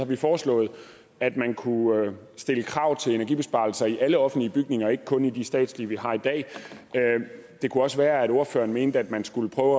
vi foreslået at man kunne stille krav til energibesparelser i alle offentlige bygninger og ikke kun i de statslige vi har i dag det kunne også være at ordføreren mente at man skulle prøve